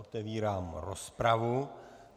Otevírám rozpravu.